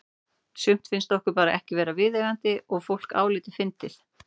Sumt finnst okkur bara ekki vera viðeigandi að fólk álíti fyndið.